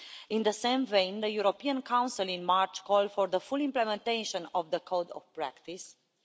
in the same vein, the European Council in March called for the full implementation of the Code of Practice